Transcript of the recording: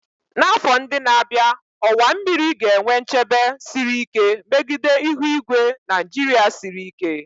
N'afọ ndị na-abịa, ọwa mmiri ga-enwe nchebe siri ike megide ihu igwe Nigeria siri ike.